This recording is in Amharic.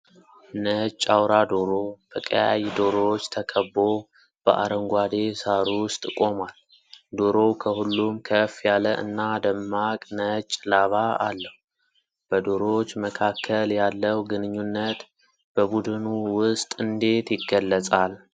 ነጭ አውራ ዶሮ በቀያይ ዶሮዎች ተከቦ በአረንጓዴ ሣር ውስጥ ቆሟል። ዶሮው ከሁሉም ከፍ ያለ እና ደማቅ ነጭ ላባ አለው። በዶሮዎች መካከል ያለው ግንኙነት በቡድኑ ውስጥ እንዴት ይገለጻል?